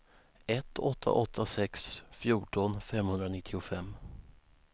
ett åtta åtta sex fjorton femhundranittiofem